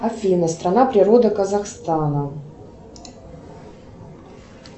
афина страна природа казахстана